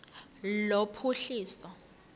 lophuhliso